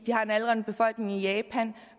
har en aldrende befolkning i japan